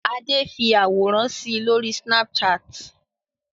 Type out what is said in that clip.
Adé fi àwòrán si lórí Snapchat?